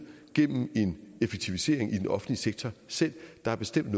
gennem en effektivisering i den offentlige sektor selv der er bestemt